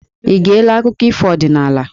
Ị geela akụkọ ọdinaala?